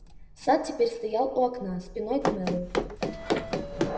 сатт теперь стоял у окна спиной к мэллоу